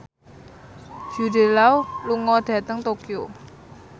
Jude Law lunga dhateng Tokyo